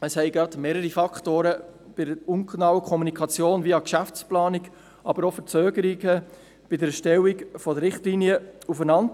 Es kam zu einer ungenauen Kommunikation via Geschäftsplanung, aber auch zu Verzögerungen bei der Erstellung der Richtlinien.